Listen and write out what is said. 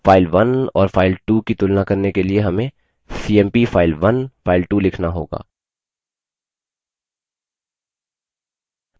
file1 और file2 की तुलना करने के लिए हमें cmp file1 file2 लिखना होगा